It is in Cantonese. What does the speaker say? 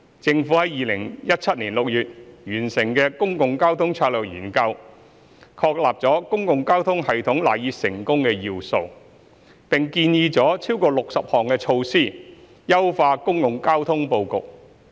政府在2017年6月完成的《公共交通策略研究》，確立了公共交通系統賴以成功的要素，並建議了超過60項措施優化公共交通布局。